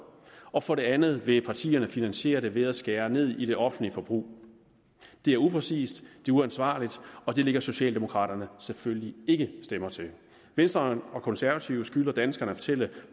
og for det andet vil partierne finansiere det ved at skære ned i det offentlige forbrug det er upræcist det er uansvarligt og det lægger socialdemokraterne selvfølgelig ikke stemmer til venstre og konservative skylder danskerne at fortælle